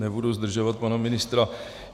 Nebudu zdržovat pana ministra.